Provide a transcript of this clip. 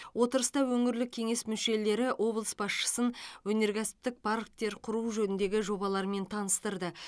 отырыста өңірлік кеңес мүшелері облыс басшысын өнеркәсіптік парктер құру жөніндегі жобаларымен таныстырды